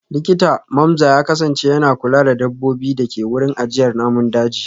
Likita Mamza ya kasance yana kula da dabbobin da ke wurin ajiyar namun daji